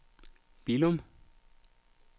Billum